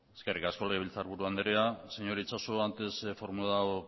eskerrik asko legebiltzarburu andrea señor itxaso antes he formulado